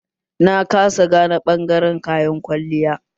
Na kasa gane ɓangaren kayan kwalliya